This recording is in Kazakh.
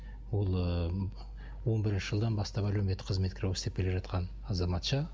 ол ыыы м он бірінші жылдан бастап әлеуметтік қызметкер болып істеп келе жатқан азаматша